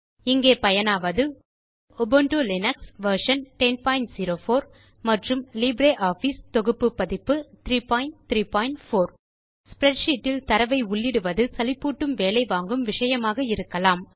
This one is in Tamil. இங்கே பயனாவது உபுண்டு லினக்ஸ் வெர்ஷன் 1004 மற்றும் லிப்ரியாஃபிஸ் சூட் வெர்ஷன் 334 ஸ்ப்ரெட்ஷீட் இல் தரவை உள்ளிடுவது சலிப்பூட்டும் வேலை வாங்கும் விஷயமாக இருக்கலாம்